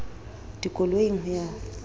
dikoloing ho ya ka ho